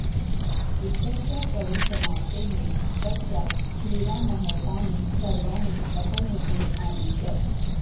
युद्धस्य परिसमाप्तेः पश्चात् श्रीरामः तानि सर्वाणि अपनेतुम् आदिशत्